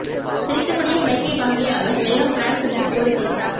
சிரித்தப்படியே மைக்கை வாங்கிய அவர் எல்லாம் பிராங்க் என்று கூறி சிரித்தார்